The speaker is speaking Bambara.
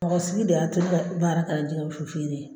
Bamakɔsigi de y'a to ne to baara ka ko fere